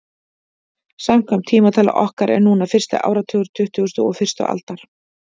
Samkvæmt tímatali okkar er núna fyrsti áratugur tuttugustu og fyrstu aldar.